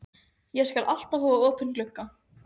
Ég skal alltaf hafa opinn gluggann.